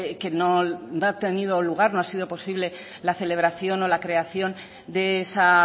que no ha tenido lugar no ha sido posible la celebración o la creación de esa